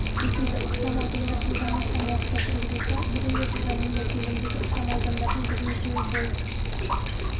секілді ықшам аудандар жылдан астам уақытта тұрғызылса бүгінде жылда мұндай көлемдегі ықшам аудандардың бірнешеуі бой